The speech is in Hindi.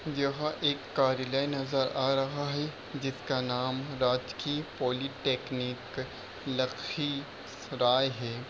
यह एक कार्यालय नजर आ रहा है जिसका नाम राजकीय पॉलिटेक्निक लखीसराय है।